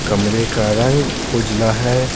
कमरे का रंग उजला है।